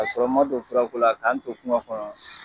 K'a sɔrɔ n ma don fura ko la k'an to kuma kɔnɔ